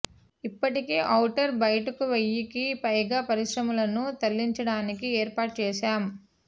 ఇప్పటికే ఔటర్ బయటకు వెయ్యికి పైగా పరిశ్రమలను తరలించడానికి ఏర్పాట్లు చేశాం